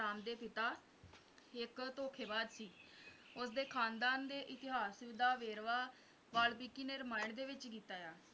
ਰਾਮ ਦੇ ਪਿਤਾ ਇੱਕ ਧੋਖੇਬਾਜ਼ ਸੀ ਉਸਦੇ ਖ਼ਾਨਦਾਨ ਦੇ ਇਤਿਹਾਸ ਦਾ ਵੇਰਵਾ ਵਾਲਮੀਕਿ ਨੇ ਰਮਾਇਣ ਵਿੱਚ ਕੀਤਾ ਹੈ